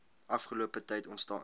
afgelope tyd ontstaan